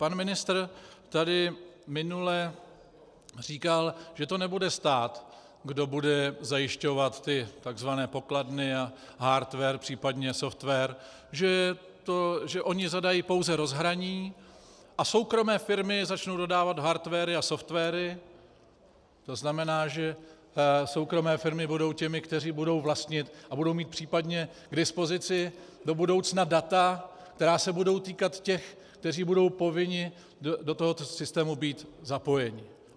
Pan ministr tady minule říkal, že to nebude stát, kdo bude zajišťovat ty tzv. pokladny a hardware, případně software, že oni zadají pouze rozhraní a soukromé firmy začnou dodávat hardware a software, to znamená, že soukromé firmy budou těmi, kteří budou vlastnit a budou mít případně k dispozici do budoucna data, která se budou týkat těch, kteří budou povinni do tohoto systému být zapojeni.